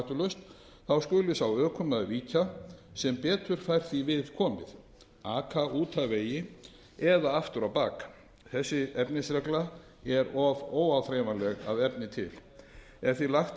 hjá hinu áhættulaust skal sá ökumaður sem betur fær því við komið aka út af vegi eða aftur á bak þessi efnisregla er of óáþreifanleg að efni til er því lagt